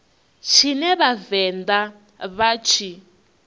tshine vha vhavenḓa vha tshi